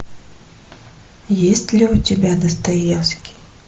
есть ли у тебя достоевский